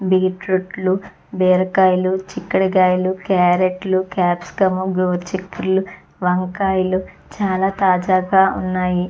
Beetroot లు బీరకాయలు చిక్కుడు కాయలు కార్రోట్లు కాప్సికం ఘోర్చిక్కుల్లు వంకాయలు చాల తాజాగా ఉన్నాయి.